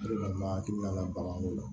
O de la n ma hakili la baganko la